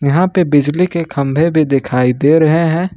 यहां पे बिजली के खंभे भी दिखाई दे रहे हैं।